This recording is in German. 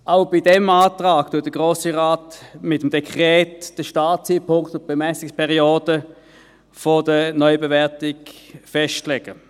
Auch bei diesem Antrag legt der Grosse Rat mit dem ANDden Startzeitpunkt und die Bemessungsperiode der Neubewertung fest.